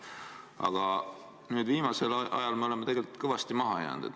Aga viimasel ajal oleme tegelikult kõvasti maha jäänud.